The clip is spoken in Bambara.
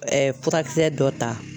furakisɛ dɔ ta.